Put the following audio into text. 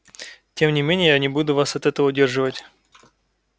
тем не менее я не буду вас от этого удерживать